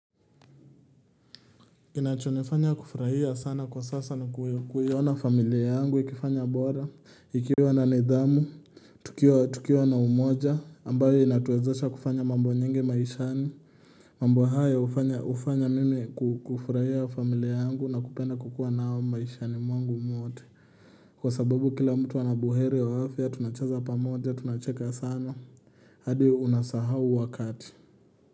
Kinachonifanya kufurahia sana kwa sasa ni kuiona familia yangu ikifanya bora Ikiwa na nidhamu, tukiwa na umoja, ambayo inatuwezesha kufanya mambo nyingi maishani mambo haya hufanya mimi kufurahia familia yangu na kupenda kukua nao maishani mwangu wote Kwa sababu kila mtu anabuhere waafya, tunacheza pamoja, tunacheka sana hadi unasahau wakati.